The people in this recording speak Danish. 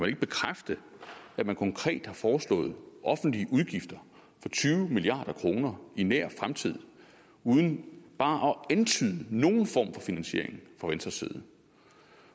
ikke bekræfte at man konkret har foreslået offentlige udgifter for tyve milliard kroner i nær fremtid uden bare at antyde nogen form for finansiering fra venstres side